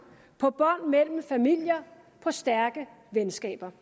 på bånd mellem familier på stærke venskaber